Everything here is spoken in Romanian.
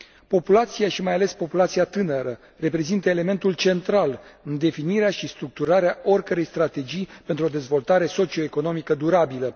Populația și, mai ales, populația tânără reprezintă elementul central în definirea și structurarea oricărei strategii pentru o dezvoltare socio economică durabilă.